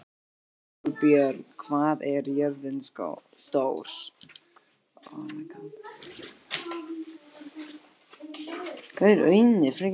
Kolbjörg, hvað er jörðin stór?